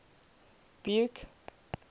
buke